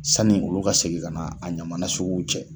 Sanni olu ka segin ka na a ɲaman nasuguw cɛ.